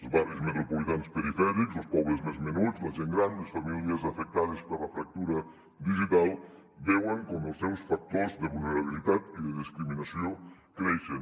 els barris metropolitans perifèrics o els pobles més menuts la gent gran les famílies afectades per la fractura digital veuen com els seus factors de vulnerabilitat i de discriminació creixen